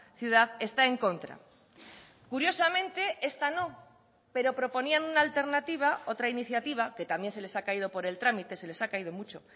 ciudad está en contra curiosamente esta no pero proponían una alternativa otra iniciativa que también se les ha caído por el trámite se les ha caído mucho